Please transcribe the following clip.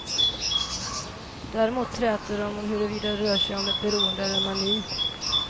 Däremot träter de om huruvida det rör sig om ett beroende eller en mani.